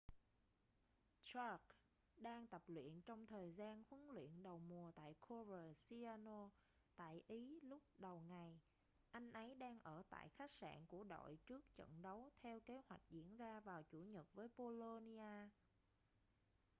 jarque đang tập luyện trong thời gian huấn luyện đầu mùa tại coverciano tại ý lúc đầu ngày anh ấy đang ở tại khách sạn của đội trước trận đấu theo kế hoạch diễn ra vào chủ nhật với bolonia